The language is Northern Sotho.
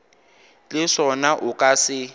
le sona o ka se